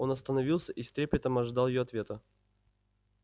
он остановился и с трепетом ожидал её ответа